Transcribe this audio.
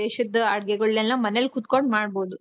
ದೇಶದ ಅಡುಗೆಗಳ್ನೆಲ್ಲ ಮನೇಲಿ ಕುತ್ಕೊಂಡು ಮಾಡ್ಬಹುದು.